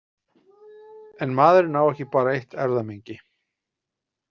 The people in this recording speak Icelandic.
En maðurinn á ekki bara eitt erfðamengi.